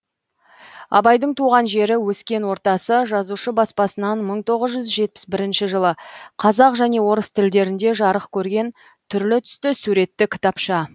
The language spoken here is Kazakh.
абайдың туған жері өскен ортасы жазушы баспасынан мың тоғыз жүз жетпіс бірінші жылы қазақ және орыс тілдерінде жарық көрген түрлі түсті суретті кітапша